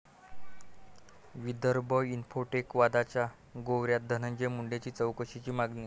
Vidarbha Infotech' वादाच्या भोवऱ्यात, धनंजय मुंडेंची चौकशीची मागणी